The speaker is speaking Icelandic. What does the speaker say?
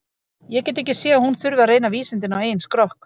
Ég get ekki séð að hún þurfi að reyna vísindin á eigin skrokk.